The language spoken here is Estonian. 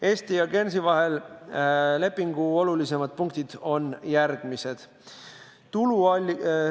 Eesti ja Guernsey vahelise lepingu olulisemad punktid on järgmised.